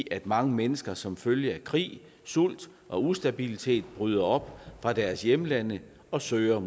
at mange mennesker som følge af krig sult og ustabilitet bryder op fra deres hjemlande og søger